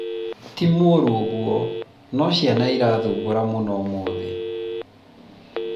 ti mũũru ũguo, no ciana irathumbũra mũno ũmũthĩ